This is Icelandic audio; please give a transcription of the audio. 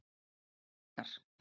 Dakar